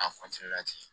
A